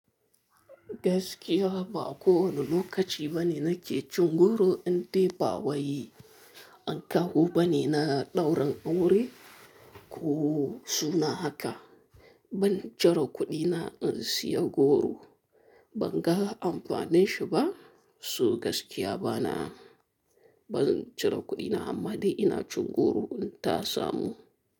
Gaskiya ba kowane lokaci bane nake cin goro in dai ba wai. An kawo bane na ɗaurin aure ko suna haka. Ban cire kuɗina in siya goro, ban ga amfanin shi ba. So gaskiya bana, ban cire kuɗina amma dai ina cin goro in ta samu.